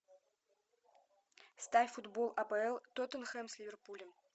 ставь футбол апл тоттенхэм с ливерпулем